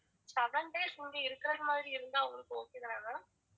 seven days வந்து இருக்கற மாதிரி இருந்தா உங்களுக்கு okay தான ma'am